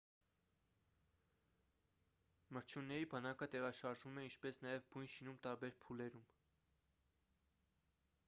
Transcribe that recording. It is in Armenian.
մրջյունների բանակը տեղաշարժվում է ինչպես նաև բույն շինում տարբեր փուլերում